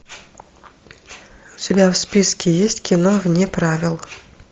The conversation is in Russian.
у тебя в списке есть кино вне правил